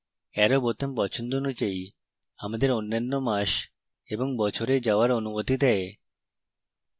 arrow বোতাম পছন্দ অনুযায়ী আমাদের অন্যান্য মাস এবং বছরে যাওয়ার অনুমতি দেয়